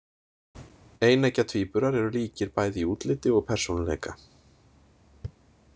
Eineggja tvíburar eru líkir bæði í útliti og persónuleika.